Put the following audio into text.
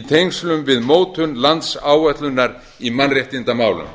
í tengslum við mótun landsáætlunar í mannréttindamálum